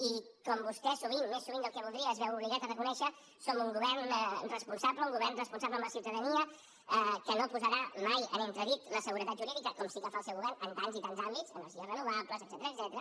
i com vostè sovint més sovint del que voldria es veu obligat a reconèixer som un govern responsable un govern responsable amb la ciutadania que no posarà mai en entredit la seguretat jurídica com sí que fa el seu govern en tants i tants àmbits energies renovables etcètera